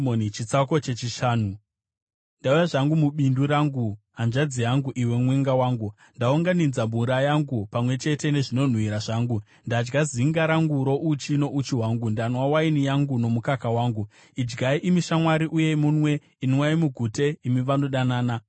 Ndauya zvangu mubindu rangu, hanzvadzi yangu, iwe mwenga wangu; ndaunganidza mura yangu pamwe chete nezvinonhuhwira zvangu. Ndadya zinga rangu rouchi nouchi hwangu; ndanwa waini yangu nomukaka wangu. Shamwari Idyai, imi shamwari, uye munwe; inwai mugute, imi vanodanana.